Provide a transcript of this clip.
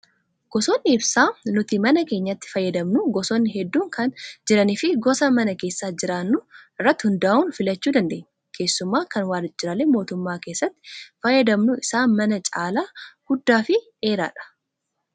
Gosoonni ibsaa nuti mana keenyatti fayyadamnu gosoonni hedduun kan jiranii fi gosa mana keessa jiraannuu irratti hundaa'uun filachuu dandeenya. Keessumaa kan waajjiraalee mootummaa keessatti fayyadamnu isaan manaa caalaa guddaa fi dheeraadha.